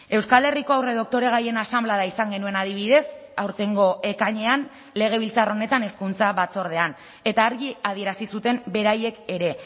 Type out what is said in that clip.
euskal herriko aurredoktoregaien asanblada izan genuen adibidez aurtengo ekainean legebiltzar honetan hezkuntza batzordean eta argi adierazi zuten beraiek ere